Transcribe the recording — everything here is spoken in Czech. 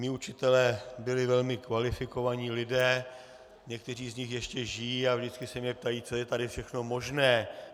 Mí učitelé byli velmi kvalifikovaní lidé, někteří z nich ještě žijí a vždycky se mě ptají, co je tady všechno možné.